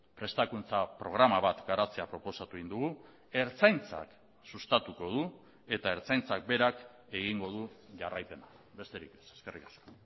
prestakuntza programa bat garatzea proposatu egin dugu ertzaintzak sustatuko du eta ertzaintzak berak egingo du jarraipena besterik ez eskerrik asko